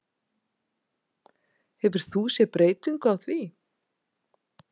Hefur þú séð breytingu á því?